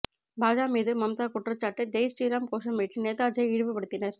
பாஜ மீது மம்தா குற்றச்சாட்டு ஜெய் ஸ்ரீராம் கோஷமிட்டு நேதாஜியை இழிவுபடுத்தினர்